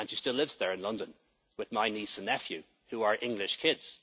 was born. She still lives there, in London, with my niece and nephew, who are